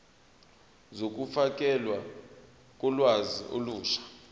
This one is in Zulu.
zokufakelwa kolwazi olusha